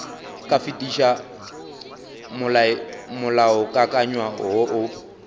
ka fetiša molaokakanywa woo o